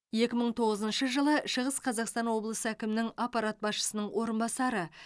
екі мың тоғызыншы жылы шығыс қазақстан облысы әкімінің аппарат басшысының орынбасары